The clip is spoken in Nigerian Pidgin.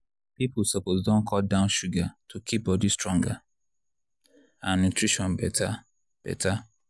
people suppose don cut down sugar to keep body stronger and nutrition better. better.